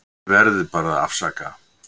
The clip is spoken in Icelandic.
Þið verðið bara að afsaka.